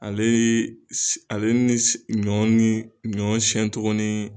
Ale ye si, ale ni si, ɲɔ ni, ɲɔ siɲɛ togo ni.